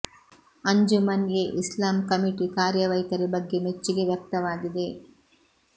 Anjuman e Islam committee ಕಾರ್ಯ ವೈಖರಿ ಬಗ್ಗೆ ಮೆಚ್ಚುಗೆ ವ್ಯಕ್ತವಾಗಿದೆ